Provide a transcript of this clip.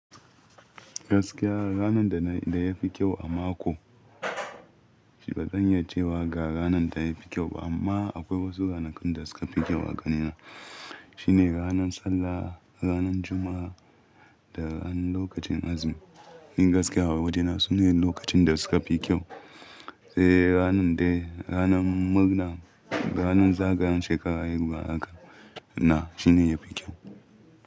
Gaskiya ranar da na, da ya fi kyau a mako, ba zan iya cewa ga ranar ta fi kyau ba amma akwai wasu ranakun da suka fi kyau a ganina. Shi ne ranan sallah, ranan Juma'a da ran lokacin azumi. Ni gaskiya a wajena sune lokacin da suka fi kyau. Eh ranan dai, ranan murna, ranan zagayan shekaru a yaruwa haka na shine yafi kyau.